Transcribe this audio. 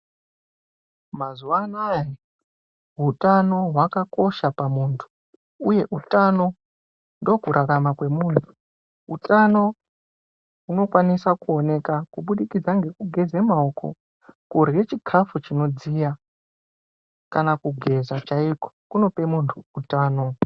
Mazuwa anaya utano hwakakosha pamuntu, uye utano ndokurarame kwemuntu. Utano hunokwanise kuoneka kubudikidza ngekugeze maoko, kurye chikafu chinodziya kana kugeza chaiko kunope muntu utano.